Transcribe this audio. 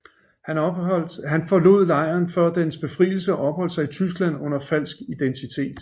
Han forlod lejren før dens befrielse og opholdt sig i Tyskland under falsk identitet